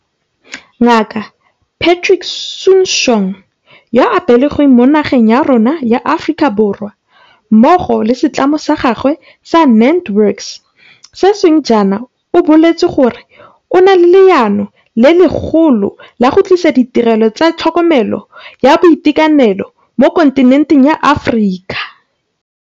Ngaka Patrick Soon-Shiong, yo a belegweng mo nageng ya rona ya Aforika Borwa, mmogo le setlamo sa gagwe sa NantWorks sešweng jaana o boletse gore o na le leano le legolo la go tlisa ditirelo tsa tlhokomelo ya boitekanelo mo kontinenteng ya Aforika.